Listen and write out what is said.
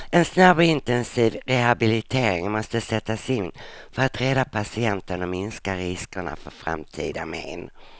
En snabb och intensiv rehabilitering måste sättas in för att rädda patienten och minska riskerna för framtida men.